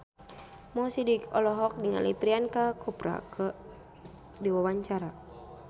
Mo Sidik olohok ningali Priyanka Chopra keur diwawancara